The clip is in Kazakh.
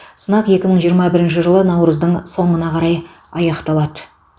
сынақ екі мың жиырма бірінші жылы наурыздың соңына қарай аяқталады